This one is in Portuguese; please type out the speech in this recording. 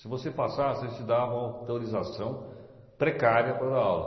Se você passasse, eles te davam autorização precária para dar aula.